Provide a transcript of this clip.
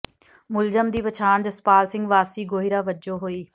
ਮੁਲਜ਼ਮ ਦੀ ਪਛਾਣ ਜਸਪਾਲ ਸਿੰਘ ਵਾਸੀ ਗੋਹੀਰਾਂ ਵਜੋਂ ਹੋਈ